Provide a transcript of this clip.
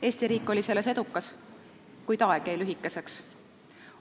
Eesti riik oli selles edukas, kuid aeg jäi lühikeseks.